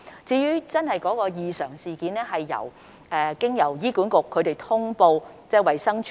在真正的異常事件方面，醫院管理局會通報衞生署。